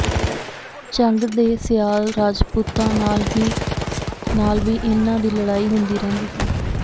ਝੰਗ ਦੇ ਸਿਆਲ ਰਾਜਪੂਤਾਂ ਨਾਲ ਵੀ ਇਨ੍ਹਾਂ ਦੀ ਲੜਾਈ ਹੁੰਦੀ ਰਹਿੰਦੀ ਸੀ